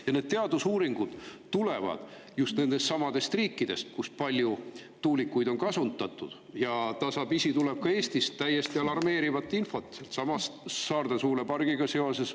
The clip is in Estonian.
Ja need teadusuuringud tulevad just nendestsamadest riikidest, kus on palju tuulikuid kasutatud, ja tasapisi tuleb ka Eestist täiesti alarmeerivat infot sellesama Saarde tuulepargi kohta.